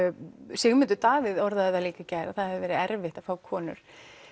Sigmundur Davíð orðaði það líka í gær að það hefið verið erfitt að fá konur